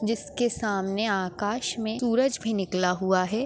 जिसके सामने आकाश मे सूरज भी निकला हुआ है।